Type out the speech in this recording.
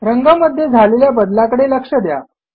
रंगामध्ये झालेल्या बदलाकडे लक्ष द्या